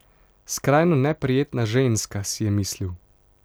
Skrajno neprijetna ženska, si je mislil.